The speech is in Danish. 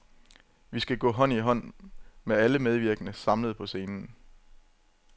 Vi skal gå hånd i hånd med alle medvirkende samlet på scenen.